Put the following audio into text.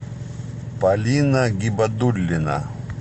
полина гибадуллина